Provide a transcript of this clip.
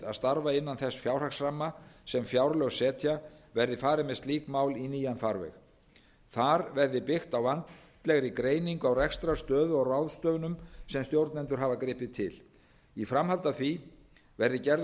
starfa innan þess fjárhagsramma sem fjárlög setja verði farið með slík mál í nýjan farveg þar verði byggt á vandlegri greiningu á rekstrarstöðu og ráðstöfunum sem stjórnendur hafa gripið til í framhaldi af því verði gerður